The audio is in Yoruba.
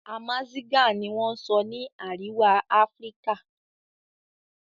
Amazigah ni wọ́n sọ ni Àríwá Áfíríkà